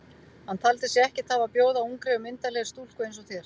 Hann taldi sig ekkert hafa að bjóða ungri og myndarlegri stúlku eins og þér.